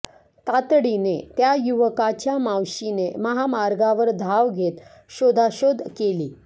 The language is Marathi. तातडीने त्या युवकाच्या मावशीने महामार्गावर धाव घेत शोधाशोध केली